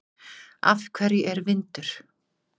Af hverju er vindur?